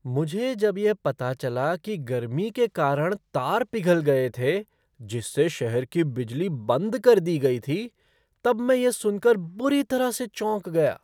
मुझे जब यह पता चला कि गर्मी के कारण तार पिघल गए थे जिससे शहर की बिजली बंद कर दी गई थी तब मैं यह सुनकर बुरी तरह से चौंक गया।